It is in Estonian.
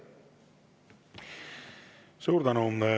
Suur tänu!